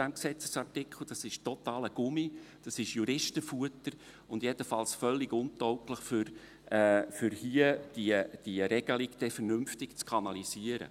Das ist totaler Gummi, das ist Juristenfutter und jedenfalls völlig untauglich dafür, die Regelung dann hier vernünftig zu kanalisieren.